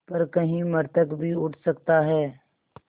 पर कहीं मृतक भी उठ सकता है